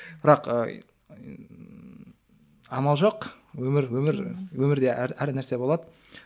бірақ ыыы амал жоқ өмір өмір өмірде әр әр нәрсе болады